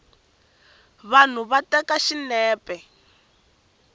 vanhu va teka xinepe